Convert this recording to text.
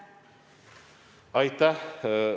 Aitäh!